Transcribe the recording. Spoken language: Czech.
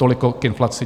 Toliko k inflaci.